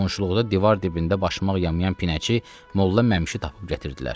Qonşuluqda divar dibində başmaq yamayan Pinəçi Molla Məmşi tapıb gətirdilər.